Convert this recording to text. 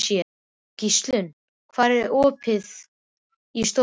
Gíslunn, er opið í Stórkaup?